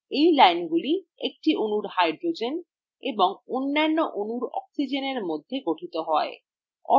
এই লাইনগুলি একটি অণুর hydrogen এবং অন্যান্য অণুর oxygenএর মধ্যে গঠিত হয়